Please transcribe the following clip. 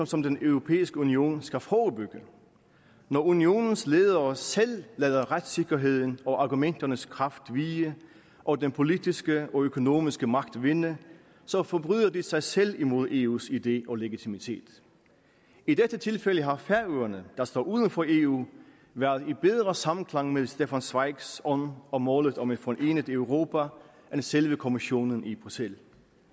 som den europæiske union skal forebygge når unionens ledere selv lader retssikkerheden og argumenternes kraft vige og den politiske og økonomiske magt vinde så forbryder de sig selv imod eus idé og legitimitet i dette tilfælde har færøerne der står uden for eu været i bedre samklang med stefan zweigs ånd og målet om et forenet europa end selve kommissionen i bruxelles